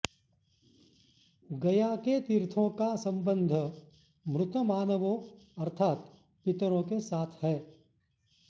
गया के तीर्थों का संबंध मृत मानवों अर्थात् पितरों के साथ है